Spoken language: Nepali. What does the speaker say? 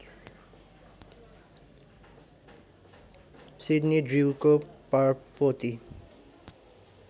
सिडनी ड्र्युको परपोती